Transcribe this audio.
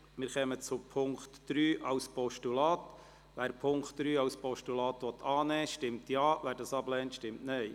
Wer den Punkt 3 als Postulat annehmen will, stimmt Ja, wer dies ablehnt, stimmt Nein.